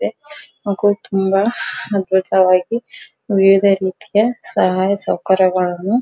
ಇದೆ ಹಾಗು ತುಂಬಾ ಅದ್ಭುತವಾಗಿ ವಿವಿಧ ರೀತಿಯ ಸಹಾಯ ಸೌಕರ್ಯಗಳನ್ನು --